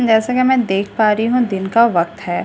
जैसा कि मैं देख पा रही हूं दिन का वक्त है।